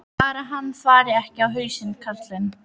Bara hann fari ekki á hausinn, karlinn.